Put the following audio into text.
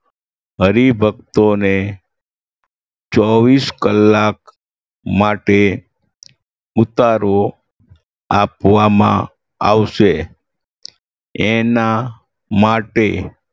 હરિભક્તોને ચોવીસ કલાક માટે ઉતારો આપવામાં આવશે એના માટે